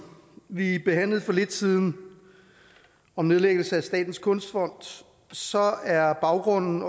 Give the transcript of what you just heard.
vi behandlede for lidt siden om nedlæggelse af statens kunstfond så er baggrunden